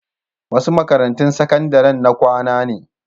Wasu makarantun sakandaren na kwana ne.